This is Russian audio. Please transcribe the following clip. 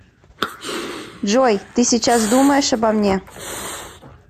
джой ты сейчас думаешь обо мне